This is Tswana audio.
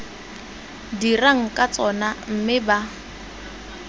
dirang ka tsona mme ba